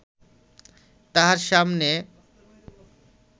তার সামনে